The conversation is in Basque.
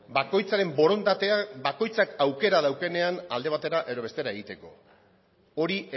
bakoitzaren borondatea bakoitzak aukera daukanean alde batera edo bestera egiteko hori